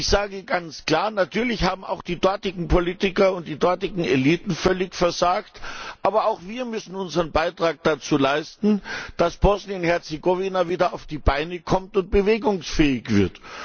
Und ich sage ganz klar Natürlich haben auch die dortigen Politiker und die dortigen Eliten völlig versagt, aber auch wir müssen unseren Beitrag dazu leisten, dass Bosnien und Herzegowina wieder auf die Beine kommt und bewegungsfähig wird.